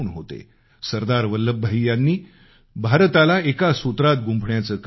सरदार वल्लभभाई पटेल यांनी भारताला एका सूत्रात गुंफण्याचं कार्य केलं